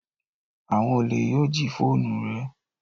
Awon ole yoo ji foonu re